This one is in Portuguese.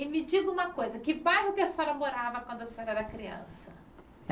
E me diga uma coisa, que bairro que a senhora morava quando a senhora era criança?